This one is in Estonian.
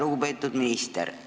Lugupeetud minister!